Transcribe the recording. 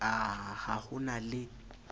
a ha ho na le